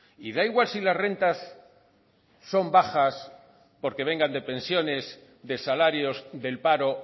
y da igual si las rentas son bajas porque vengan de pensiones de salarios del paro